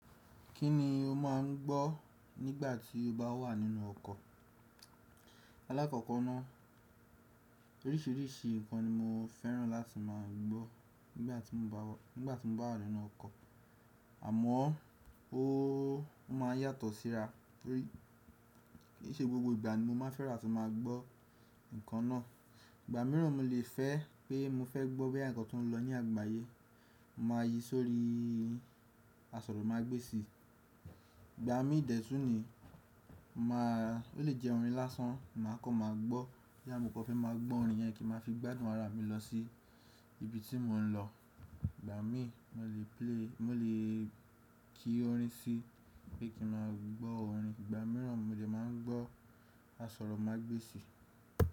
Kí ni o má ń gbọ́ nígbà tí o bá wà nínú ọkọ̀? Alákọ̀kọ́ náà oríṣìíríṣìí ǹkan ni mo fẹ́ràn láti má a gbọ́ nígbà tí mo bá wà nínú ọkọ̀, àmọ́ ó má a yàtọ̀ síra torí kì í ṣe gbogbo ìgbà ni mo má a fẹ́rà láti má a gbọ́ ǹkan náà. Ìgbà mìíràn mo lè fẹ́ pé mo fẹ́ gbọ́ bí àwọn ǹkan tó ń lọ ní àgbáyé, mo máa yi sórí asọ̀rọ̀mágbèsì. Ìgbà mí dẹ̀tún ni, má a ó lè jẹ́ orin lásán, mà á kọ́ máa gbọ́. Tí àmọ́ kò fẹ́ máa gbọ́ orin yẹn kí n máa fi gbádùn ara mi lọ sí ibi tí mo ń lọ. Ìgbà mí mo lè play, mo lè kí orin sí bí kí n máa gbọ́ orin. Ìgbà mìíràn mo lè máa ń gbọ́ asọ̀rọ̀mágbèsì.